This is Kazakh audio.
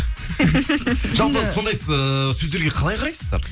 жалпы сондай ыыы сөздерге қалай қарайсыздар